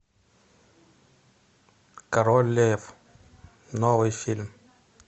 король лев новый фильм